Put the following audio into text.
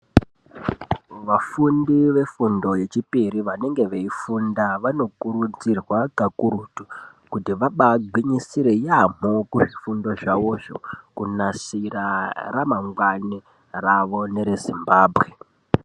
Vafundi vefundo yechipiri vanenge veifunda vanokurudzirwa kakurutu kuti vabagwinyisire yaamho kuzvifundo zvavozvo kunasira ramangwani ravo nere zimbambwe.